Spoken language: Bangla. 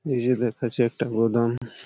এই যে দেখাচ্ছে একটা গোদাম।